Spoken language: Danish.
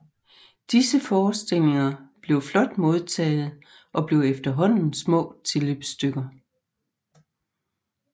Disse forestillinger blev flot modtagede og blev efterhånden små tilløbsstykker